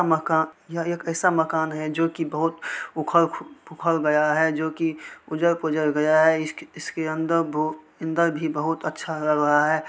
अ मका-यह एक ऐसा मकान है जो की बहोत उखड़ पुखड़ गया है जोकि ऊझड़ पुझड़ गया है इस इसकी अंदर भू अंदर भी बहुत अच्छा लग रहा है।